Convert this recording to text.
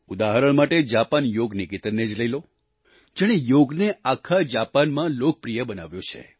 ઉદાહરણ માટે જાપાન યોગ નિકેતન ને જ લઈ લો જેણે યોગને આખા જાપાનમાં લોકપ્રિય બનાવ્યો છે